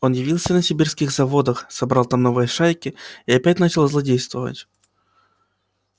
он явился на сибирских заводах собрал там новые шайки и опять начал злодействовать